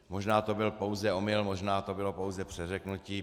Možná to byl pouze omyl, možná to bylo pouze přeřeknutí.